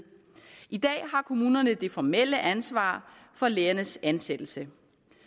i dag har kommunerne det formelle ansvar for lærernes ansættelse